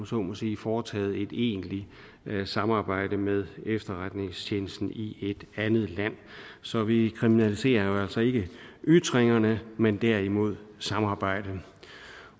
så må sige foretaget et egentligt samarbejde med efterretningstjenesten i et andet land så vi kriminaliserer jo altså ikke ytringerne men derimod samarbejdet